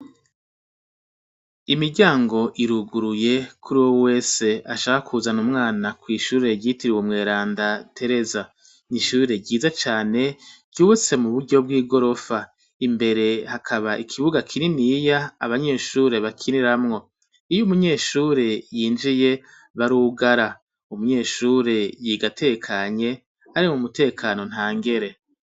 Imiryango iruguruye kuri wo wese ashaka kuzana umwana kw'ishure ryitiri uwe mweranda teresa nyishure ryiza cane ryubutse mu buryo bw'i gorofa imbere hakaba ikibuga kiri niya abanyeshure bakiniramwo iyo umunyeshure yinjiye bariwe ugara umunyeshure yigatekanye ari mu mutekano nta ngere.